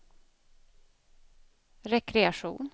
rekreation